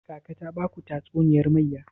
Kaka ta baku tatuniyar mayya?